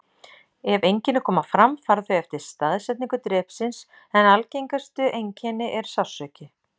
Ef einkenni koma fram fara þau eftir staðsetningu drepsins, en algengasta einkenni er sársauki.